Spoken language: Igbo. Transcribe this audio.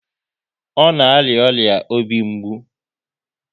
Ọ na arịa ọrịa obi mgbu?